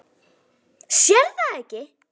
Sérð það ekki.